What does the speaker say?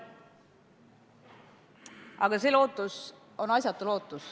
Aga see lootus on asjatu.